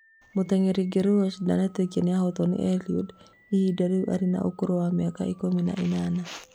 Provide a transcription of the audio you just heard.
Mũteng'eri Guerroj ndanetĩkia nĩahotwo nĩ Eliud ihinda rĩu arĩ na ũkũrũ wa mĩaka ikũmi na ĩnana